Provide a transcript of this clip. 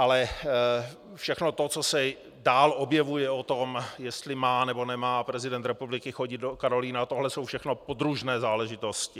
Ale všechno to, co se dál objevuje o tom, jestli má, nebo nemá prezident republiky chodit do Karolina, tohle jsou všechno podružné záležitosti.